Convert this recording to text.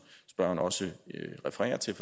spørgeren også refererer til